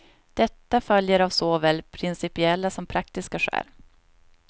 Detta följer av såväl principiella som praktiska skäl.